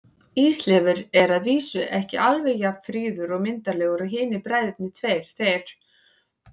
Ísleifur er að vísu ekki alveg jafn fríður og myndarlegur og hinir bræðurnir tveir, þeir